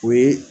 O ye